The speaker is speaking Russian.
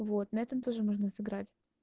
вот на этом тоже можно сыграть